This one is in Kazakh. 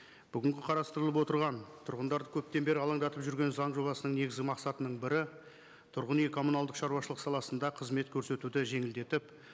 бүгінгі қарастырылып отырған тұрғындарды көптен бері алаңдатып жүрген заң жобасының негізгі мақсатының бірі тұрғын үй коммуналдық шаруашылық саласында қызмет көрсетуді жеңілдетіп